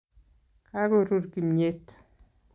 Kagoruur kimnyet